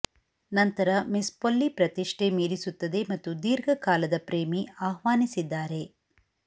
ನಂತರ miss Polly ಪ್ರತಿಷ್ಥೆ ಮೀರಿಸುತ್ತದೆ ಮತ್ತು ದೀರ್ಘಕಾಲದ ಪ್ರೇಮಿ ಆಹ್ವಾನಿಸಿದ್ದಾರೆ